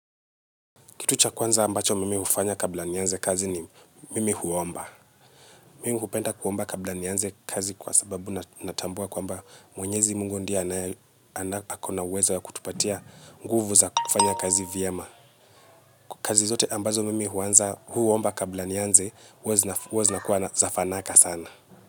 Kitu cha kwanza ambacho mimi hufanya kabla nianze kazi ni mimi huomba. Mimu kupenda kuomba kabla nianze kazi kwa sababu natambua kwamba mwenyezi mungu ndiye akona uwezo ya kutupatia nguvu za kufanya kazi vyema. Kazi zote ambazo mimi huanza huomba kabla nianze huwa zinakuwa za fanaka sana.